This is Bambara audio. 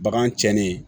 Bagan cɛnni